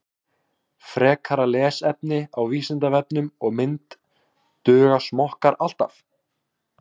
Frekara lesefni á Vísindavefnum og mynd Duga smokkar alltaf?